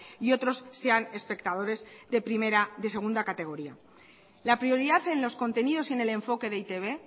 y otros sean espectadores de segunda categoría la prioridad en los contenidos y en el enfoque de e i te be